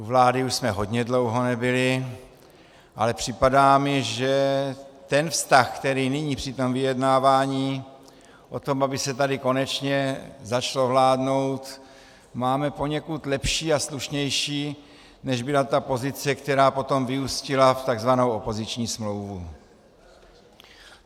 U vlády už jsme hodně dlouho nebyli, ale připadá mi, že ten vztah, který nyní při tom vyjednávání o tom, aby se tady konečně začalo vládnout, máme poněkud lepší a slušnější, než byla ta pozice, která potom vyústila v takzvanou opoziční smlouvu.